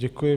Děkuji.